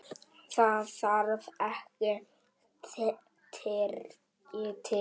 Það þarf ekki Tyrki til.